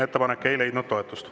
Ettepanek ei leidnud toetust.